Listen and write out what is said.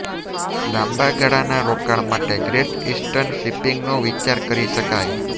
લાંબા ગાળાના રોકાણ માટે ગ્રેટ ઈસ્ટર્ન શિપિંગનો વિચાર કરી શકાય